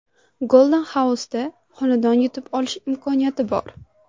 Golden House’da xonadon yutib olish imkoniyati bor!.